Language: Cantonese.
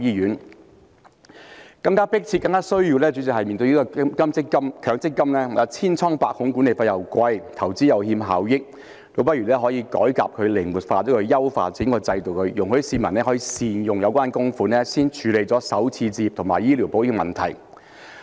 主席，更加迫切和更加需要的是，面對強制性公積金制度千瘡百孔，計劃管理費昂貴，投資又欠效益，倒不如進行改革，將它靈活化，優化整個制度，容許市民可以善用有關供款，先處理首次置業和醫療保險的問題。